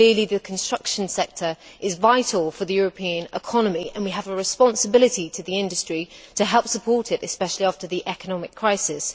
Clearly, the construction sector is vital for the European economy, and we have a responsibility to the industry to help support it, especially after the economic crisis.